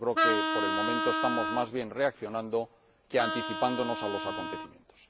Yo creo que, por el momento, estamos más bien reaccionando que anticipándonos a los acontecimientos.